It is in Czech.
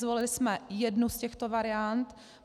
Zvolili jsme jednu z těchto variant.